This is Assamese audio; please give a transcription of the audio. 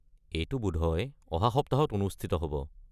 এইটো বোধহয় অহা সপ্তাহত অনুষ্ঠিত হ'ব।